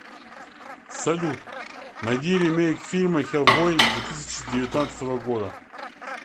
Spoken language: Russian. салют найди ремейк фильма хеллбой две тысяча девятнадцатого года